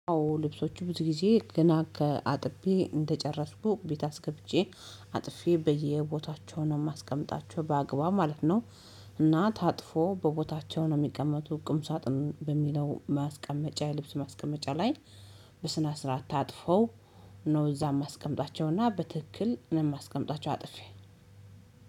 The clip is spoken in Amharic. አዎ ልብሶቹ ብዙ ጊዜ ገና ከአጥቤ እንደጨረስኩ ቤት አስገብቼ አጥፌ በየቦታቸው ነው ማስቀመጣቸው በአግባቡ ማለት ነው። እና ታጥፎ በቦታቸው ነው የሚቀመጡ ቁም ሳጥኑ በሚለው ማስቀመጫ የልብስ ማስቀመጫ ላይ። በስነ ስርዓት ታጥፈው ነው እዛም የማስቀምጣቸውና በትክክል ምን ማስቀመጣቸው አጥፌ።